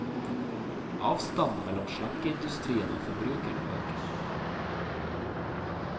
Avstanden mellom slankeindustrien og forbrukerne øker.